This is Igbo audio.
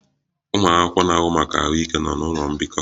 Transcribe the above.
Ụmụ akwụkwọ na-ahụ maka ahụike nọ n'ụlọ mbikọ